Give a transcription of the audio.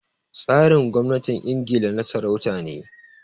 Tsarin gwamnatin Ingila na sarauta ne